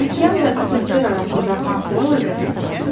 Okean və atmosfer arasında hansı əlaqələr var?